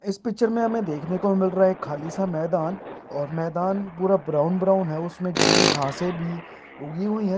इस पिक्चर में हमें देखने को मिल रहा है एक खाली सा मैदान और मैदान पूरा ब्राउन ब्राउन है उसमें ग्रीन घासें भी उगी हुई हैं।